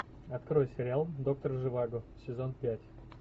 открой сериал доктор живаго сезон пять